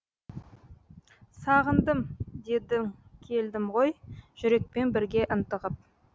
сағындым дедің келдім ғой жүрекпен бірге ынтығып